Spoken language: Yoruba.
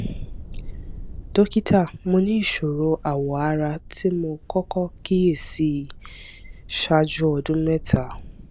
dókítà mo ní ìṣòro awọ ara tí mo kókó kíyè sí ṣáájú ọdún mẹta